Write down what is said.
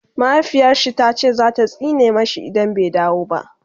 mahaifiyarshi tace zata tsine mashi idan bai dawo ba